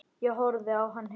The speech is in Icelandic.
Ég horfði á hann hissa.